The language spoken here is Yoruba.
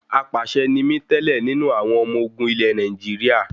Apàṣẹ ni mí tẹ́lẹ̀ nínú àwọn ọmọ ogun ilẹ Nàìjíríà.